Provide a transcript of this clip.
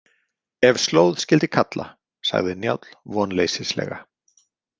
Ef slóð skyldi kalla, sagði Njáll vonleysislega.